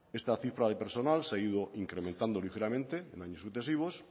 esta cifra de personal se ha ido incrementando ligeramente en años sucesivos